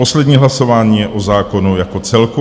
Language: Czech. Poslední hlasování je o zákonu jako celku.